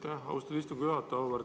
Aitäh, austatud istungi juhataja!